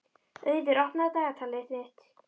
Auður, opnaðu dagatalið mitt.